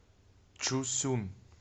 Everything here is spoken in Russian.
чусюн